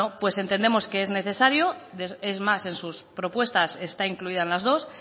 entendemos que es necesario es más en su propuesta está incluida en las dos